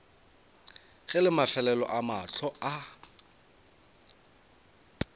ge la mafelelo mahlo a